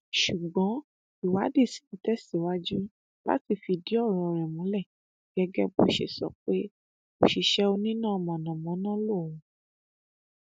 ṣùgbọn ìwádìí ṣì ń tẹsíwájú láti fìdí ọrọ rẹ múlẹ gẹgẹ bó ṣe sọ pé òṣìṣẹ oníná mọnàmọná lòun